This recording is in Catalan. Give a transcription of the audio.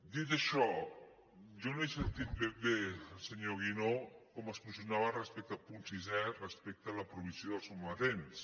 dit això jo no he sentit ben bé el senyor guinó com es posicionava respecte al punt sisè respecte a la provisió dels sometents